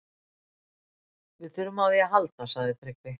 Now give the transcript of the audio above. Við þurfum á því að halda, sagði Tryggvi.